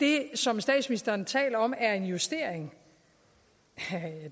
det som statsministeren taler om er en justering det